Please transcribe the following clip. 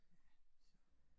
Ja, så